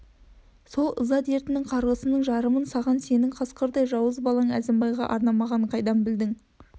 сол ыза дертінің қарғысының жарымын саған сенің қасқырдай жауыз балаң әзімбайға арнамағанын қайдан білдің